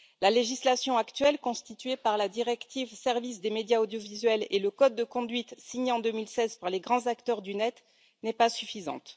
La législation actuelle constituée par la directive Services de médias audiovisuels et le code de conduite signé en 2016 par les grands acteurs du Net n'est pas suffisante.